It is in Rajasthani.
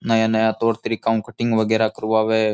नया नया तौर तरीका ऊं कटिंग वगैरा करवावे।